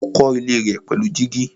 Ó kọ́ ilé rẹ̀ pẹ̀lú gíjí.